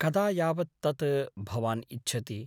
कदा यावत् तत् भवान् इच्छति ?